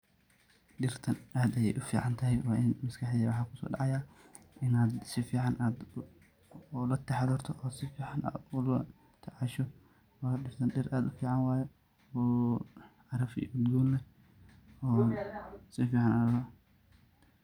Dhirtan ad ayey uficantahay, maskaxdeyda waxa kusodacaya in ad sifican ulataxadarto oo sifican ad olatacasho wayo dhirtan dhir ad ufican waye oo caraf iyo udgoon leh.